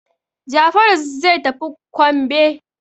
Jafaru zai tafi kwambe.